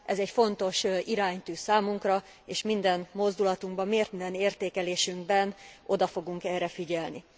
Ez egy fontos iránytű számunkra, és minden mozdulatunkban, minden értékelésünkben oda fogunk erre figyelni.